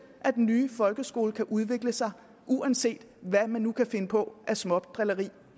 at den nye folkeskole kan udvikle sig uanset hvad man nu kan finde på af smådrilleri